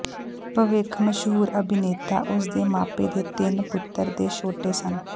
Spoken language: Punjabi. ਭਵਿੱਖ ਮਸ਼ਹੂਰ ਅਭਿਨੇਤਾ ਉਸ ਦੇ ਮਾਪੇ ਦੇ ਤਿੰਨ ਪੁੱਤਰ ਦੇ ਛੋਟੇ ਸਨ